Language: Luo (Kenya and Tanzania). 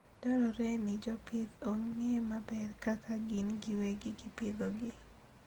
Dwarore ni jopith ong'e maber kaka gin giwegi gipidhogi.